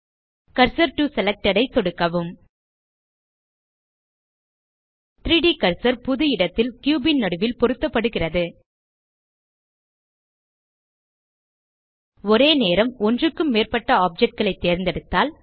cursor to selected ஐ சொடுக்கவும் 3ட் கர்சர் புது இடத்தில் கியூப் ன் நடுவில் பொருத்தப்படுகிறது ஒரே நேரம் ஒன்றுக்கும் மேற்பட்ட ஆப்ஜெக்ட் களை தேர்ந்தெடுத்தால்